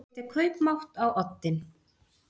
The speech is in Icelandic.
Setja kaupmátt á oddinn